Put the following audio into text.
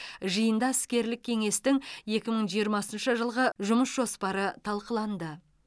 жиында іскерлік кеңестің екі мың жиырмасыншы жылғы жұмыс жоспары талқыланды